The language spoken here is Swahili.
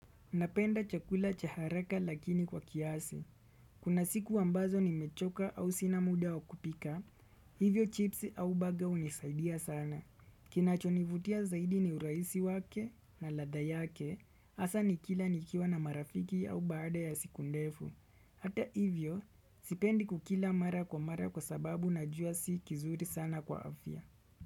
Napenda chakula cha haraka lakini kwa kiasi. Kuna siku ambazo nimechoka au sina muda wa kupika, hivyo chips au burger hunisaidia sana. Kinachonivutia zaidi ni uraisi wake na ladha yake, hasa nikila nikiwa na marafiki au baada ya siku ndefu. Hata hivyo, sipendi kukila mara kwa mara kwa sababu najua si kizuri sana kwa afya.